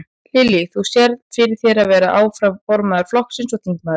Lillý: Þú sérð fyrir þér að vera áfram formaður flokksins og þingmaður?